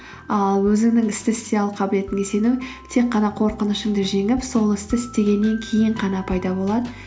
ал өзіңнің істі істей алу қабілетіңе сену тек қана қорқынышыңды жеңіп сол істі істегеннен кейін ғана пайда болады